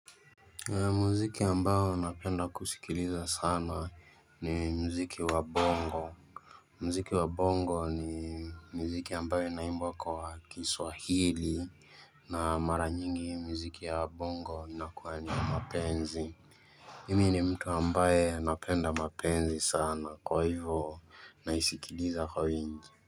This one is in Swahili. Muziki ambao napenda kusikiliza sana ni muziki wa bongo. Muziki wa bongo ni muziki ambayo inaimbwa kwa kiswahili na mara nyingi miziki ya bongo inakuwa niya mapenzi. Mi ni mtu ambaye napenda mapenzi sana kwa hivo naisikiliza kwa wingi.